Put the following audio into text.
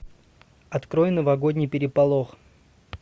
открой новогодний переполох